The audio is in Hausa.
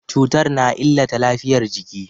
Cutar na illata lafiyar jiki.